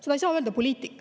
Seda ei saa öelda poliitik.